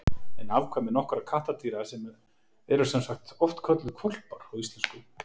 En afkvæmi nokkurra kattardýra eru sem sagt oft kölluð hvolpar á íslensku.